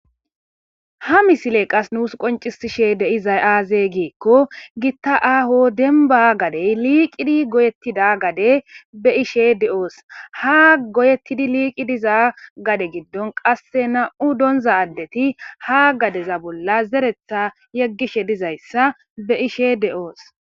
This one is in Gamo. Ha misile qas nuus qoncisishe deiza aaze giikko gitta aaho denba gadey liiqidi goyettida gade be ishe de7oos ha goyeettidi liiqi diza gade giddon qasse na7u doonza addeti ha gadeza bolla zeretha yeggishe dizayssa be ishe de7oos